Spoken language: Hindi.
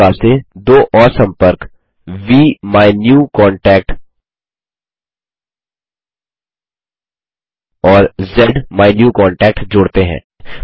उसी प्रकार से दो और सम्पर्क वीमायन्यूकॉन्टैक्ट और ज़्माइन्यूकॉन्टैक्ट जोड़ते हैं